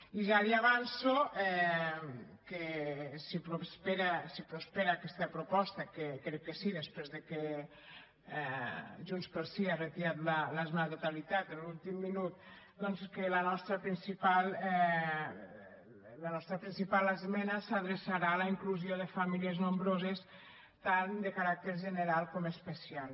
i ja li avanço que si prospera aquesta proposta que crec que sí després que junts pel sí ha retirat l’esmena a la totalitat en l’últim minut doncs la nostra principal esmena s’adreçarà a la inclusió de famílies nombroses tant de caràcter general com especial